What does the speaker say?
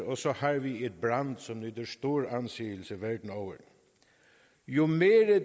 og så har vi et brand som nyder stor anseelse verden over jo mere